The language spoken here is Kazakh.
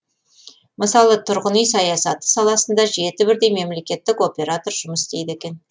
мысалы тұрғын үй саясаты саласында жеті бірдей мемлекеттік оператор жұмыс істейді екен